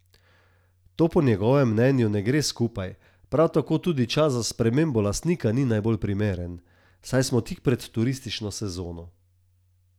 To po njegovem mnenju ne gre skupaj, prav tako tudi čas za spremembo lastnika ni najbolj primeren, saj smo tik pred turistično sezono.